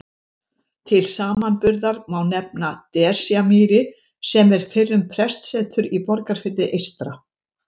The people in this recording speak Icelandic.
Til samanburðar má nefna Desjarmýri sem er fyrrum prestsetur í Borgarfirði eystra.